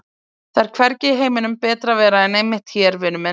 Það er hvergi í heiminum betra að vera en einmitt hér, vinur minn!